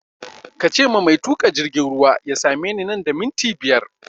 Kace ma mai tuƙa jirgin ruwa ya same ni nan da minti biyar!